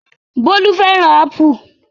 Bólú fẹ́ràn ápù